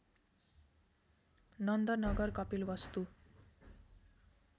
Nand Nagar Kapilvastu